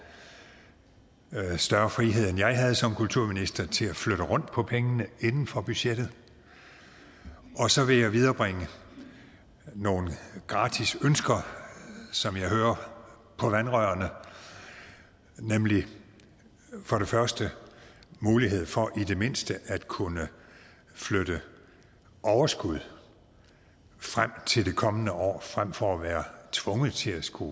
større frihed end jeg havde som kulturminister til at flytte rundt på pengene inden for budgettet så vil jeg viderebringe nogle gratis ønsker som jeg hører på vandrørene nemlig for det første mulighed for i det mindste at kunne flytte overskud frem til det kommende år fremfor at være tvunget til skulle